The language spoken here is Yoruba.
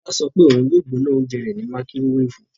Tola sọ pe oun yoo gbona ounjẹ rẹ ni makirowefu